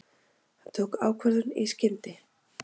Hann tók ákvörðun í skyndi.